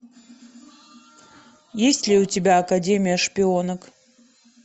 есть ли у тебя академия шпионок